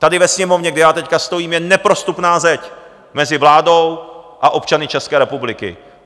Tady ve Sněmovně, kde já teď stojím, je neprostupná zeď mezi vládou a občany České republiky.